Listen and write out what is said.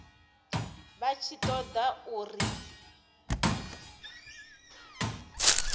vha tshi ṱo ḓa uri